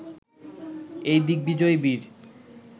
এই দিগ্বিজয়ী বীর